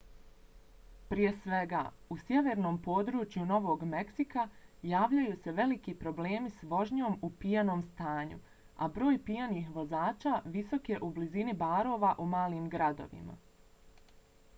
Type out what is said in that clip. prije svega u sjevernom području novog meksika javljaju se veliki problemi s vožnjom u pijanom stanju a broj pijanih vozača visok je u blizini barova u malim gradovima